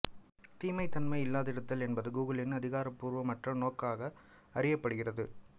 தீமைத் தன்மை இல்லாதிருத்தல் என்பது கூகுளின் அதிகாரப்பூர்வமற்ற நோக்காக அறியப்படுகிறது